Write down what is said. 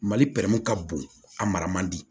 Mali ka bon a mara man di